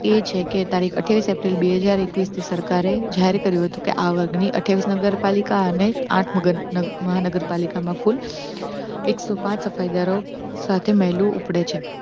એ છે કે તારીખ આઠીયાવીસ એપ્રિલ બે હજાર એકવીસ, સરકારે જાહેર કર્યું હતું કે આ વર્ગ ની આઠીયાવીસ નગરપાલિકા અને આઠ મહાનગરપાલિકા માં કુલ. એકસો પાંચ સફાઇ દારો સાથે મહિલા ઊપડે છે.